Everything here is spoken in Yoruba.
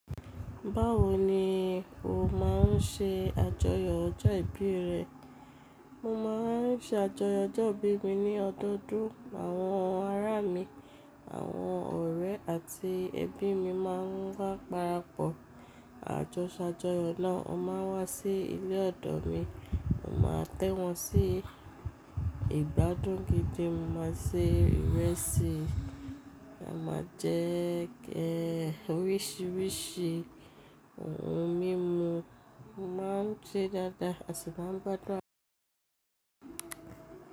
Báwo ni o máa ń ṣe àjọyọ̀ ọjọ́ ìbí rẹ? Mo máa ń ṣe àjọyọ̀ ọjọ́ ìbí mi ní ọdọọdún. Àwọn ará mi, àwọn ọ̀rẹ́ àti ẹbí mi máa ń wá parapọ̀. Àjọṣaàjọyọ̀ náà ó máa wá sí ilé ọ̀dọ̀ mi. Mo máa tẹ́ wọn sí ìgbádùn gidi. Mo máa se ìrẹsì, a máa jẹ ẹ oríṣiríṣi ohun mímu. A máa ń ṣe dáadáa àti bá ń gbádùn àwọn.